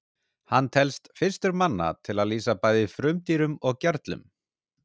hann telst fyrstur manna til að lýsa bæði frumdýrum og gerlum